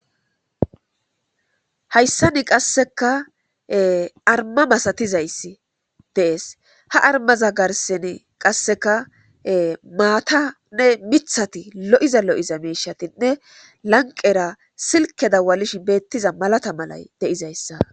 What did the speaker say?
hayssani qasseka arma masatizayssi dees ha armaza garseni qasseka maatanne mithati lo7iza lo7iza miishatinne lanqera silke dawalishe beettiza malata malay de7izayssa